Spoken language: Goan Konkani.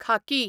खाकी